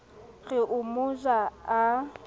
re o mo ja a